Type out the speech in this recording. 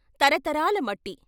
తర తరాల మట్టి.